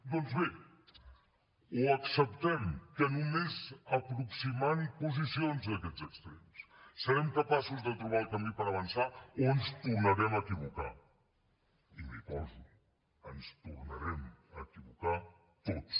doncs bé o acceptem que nomes aproximant posicions d’aquests extrems serem capaços de trobar el camí per avançar o ens tornarem a equivocar i m’hi poso ens tornarem a equivocar tots